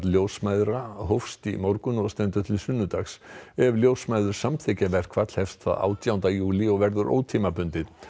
ljósmæðra hófst í morgun og stendur til sunnudags ef ljósmæður samþykkja verkfall hefst það átjánda júlí og verður ótímabundið